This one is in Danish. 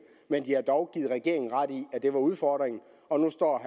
men de har dog givet regeringen ret i at det er udfordringen og nu står